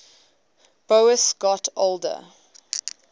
boas got older